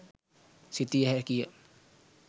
සිතිය හැකිය.